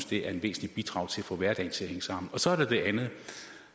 det er et væsentligt bidrag til at få hverdagen til at hænge sammen så er der det andet